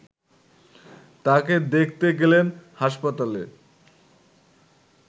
তাকে দেখতে গেলেন হাসপাতালে